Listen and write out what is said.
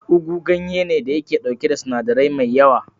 ugu ganye ne da yake dauke da sinadirai mai yawa.